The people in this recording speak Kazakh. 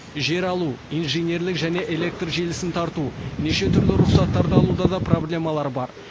жер алу инженерлік және электр желісін тарту неше түрлі рұқсаттарды алуда осы проблемалар бар